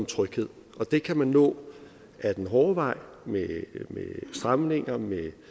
tryghed og det kan man nå ad den hårde vej med stramninger